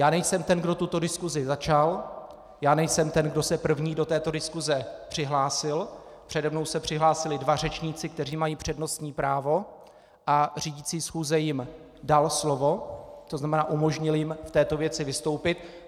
Já nejsem ten, kdo tuto diskusi začal, já nejsem ten, kdo se první do této diskuse přihlásil, přede mnou se přihlásili dva řečníci, kteří mají přednostní právo, a řídící schůze jim dal slovo, to znamená, umožnil jim v této věci vystoupit.